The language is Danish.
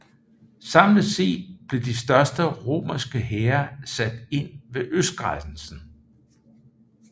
Samlet set blev de største romerske hære sat ind ved østgrænsen